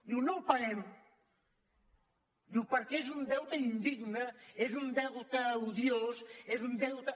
diu no el paguem diu perquè és un deute indigne és un deute odiós és un deute